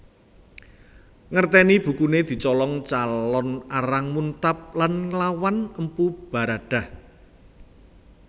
Ngerteni bukune dicolong Calon Arang muntab lan nglawan Empu Baradah